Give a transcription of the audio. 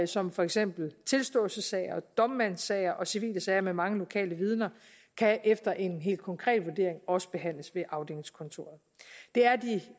som for eksempel tilståelsessager og domsmandssager og civile sager med mange lokale vidner kan efter en helt konkret vurdering også behandles ved afdelingskontoret det er de